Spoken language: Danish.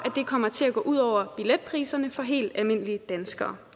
det kommer til at gå ud over billetpriserne for helt almindelige danskere